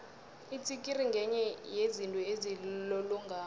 itsikiri ngenye yezinto ezilolongako